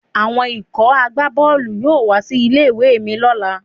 Àwọn ikọ̀ àgbá Bọ́ọ̀lù yóò wá sí ilé ìwé mi lọ́la.